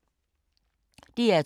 DR2